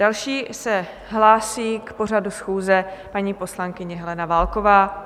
Další se hlásí k pořadu schůze paní poslankyně Helena Válková.